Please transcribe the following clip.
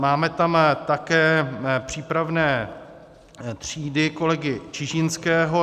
Máme tam také přípravné třídy kolegy Čižinského.